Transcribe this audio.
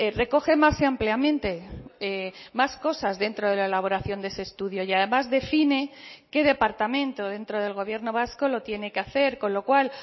recoge más ampliamente más cosas dentro de la elaboración de ese estudio y además define qué departamento dentro del gobierno vasco lo tiene que hacer con lo cual